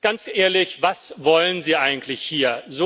Ganz ehrlich, was wollen Sie eigentlich hier?